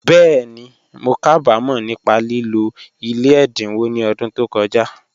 Bẹ́ẹ̀ni, mó kábàmọ̀ nípá lìlọ̀ ilẹ̀ èdínwọ̀ ní ọ̀dún tó kọ̀jà